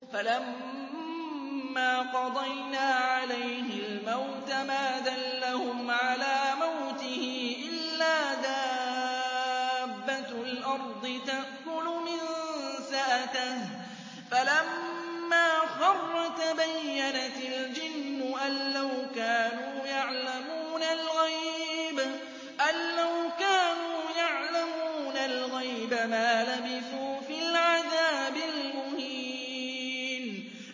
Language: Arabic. فَلَمَّا قَضَيْنَا عَلَيْهِ الْمَوْتَ مَا دَلَّهُمْ عَلَىٰ مَوْتِهِ إِلَّا دَابَّةُ الْأَرْضِ تَأْكُلُ مِنسَأَتَهُ ۖ فَلَمَّا خَرَّ تَبَيَّنَتِ الْجِنُّ أَن لَّوْ كَانُوا يَعْلَمُونَ الْغَيْبَ مَا لَبِثُوا فِي الْعَذَابِ الْمُهِينِ